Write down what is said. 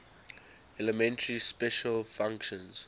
elementary special functions